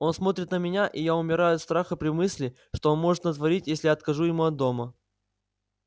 он смотрит на меня и я умираю от страха при мысли что он может натворить если я откажу ему от дома